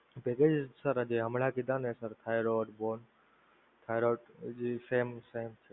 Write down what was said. packages sir જે હમણાં કીધા ને thyroid thyroid same જે same